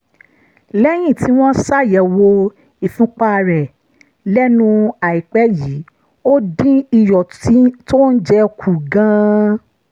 lẹ́yìn tí wọ́n ṣàyẹ̀wò ìfúnpá rẹ̀ lẹ́nu àìpẹ́ yìí ó dín iyọ̀ tó ń jẹ kù gan-an